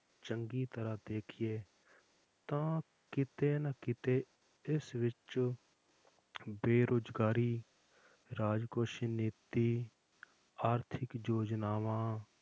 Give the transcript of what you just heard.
ਚੰਗੀ ਤਰ੍ਹਾਂ ਦੇਖੀਏ ਤਾਂ ਕਿਤੇ ਨਾ ਕਿਤੇ ਇਸ ਵਿੱਚ ਬੇਰੁਜ਼ਗਾਰੀ, ਰਾਜਕੋਸ਼ੀ ਨੀਤੀ ਆਰਥਿਕ ਯੋਜਨਾਵਾਂ